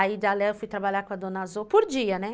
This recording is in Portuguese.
Aí eu fui trabalhar com a dona Azor por dia, né?